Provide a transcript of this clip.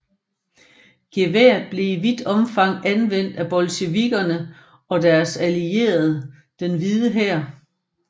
Geværet blev i vidt omfang anvendt af bolsjevikkerne og deres allierede og den Hvide Hær